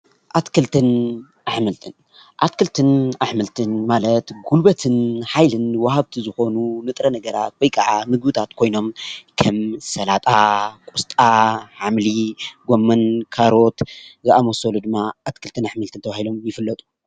ኣትክልትን ኣሕምልትን- ኣትክልትን ኣሕምልትን ማለት ጉልበትን ሓይልን ወሃብቲ ዝኮኑ ንጥረ ነገራት ወይ ከዓ ምግብታት ኮይኖም ከም ስላጣ ፣ ቆስጣ ፣ሓምሊ ፣ጎመን ፣ ካሮት ዝኣመሰሉ ድማ ኣትክልትን ኣሕምልቲን ተባሂሎም ይፍለጡ ።